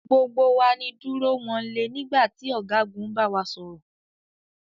Gbogbo wa ni dúró wọnle nígbà tí ọ̀gágun ń bawa sọ̀rọ̀.